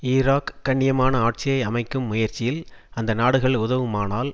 Iraq கண்ணியமான ஆட்சியை அமைக்கும் முயற்சியில் அந்த நாடுகள் உதவுமானால்